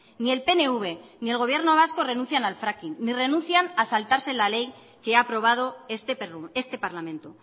ni el pnv ni el gobierno vasco renuncian al fracking ni renuncian a saltarse la ley que ha aprobado este parlamento